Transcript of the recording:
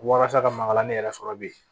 Walasa ka maka ne yɛrɛ sɔrɔ bi